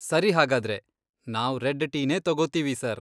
ಸರಿ ಹಾಗಾದ್ರೆ, ನಾವ್ ರೆಡ್ ಟೀನೇ ತಗೋತೀವಿ, ಸರ್.